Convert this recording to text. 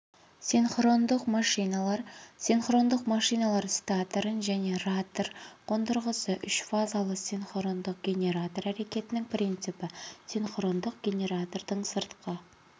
синхронды машиналар синхрондық машиналар статорын және ротор қондырғысы үшфазалы синхрондық генератор әрекетінің принципі синхрондық генератордың сыртқы